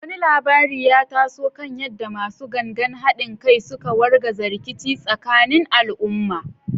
Wani labari ya taso kan yadda “Masu Gangan Hadin Kai” suka wargaza rikici tsakanin al’umma.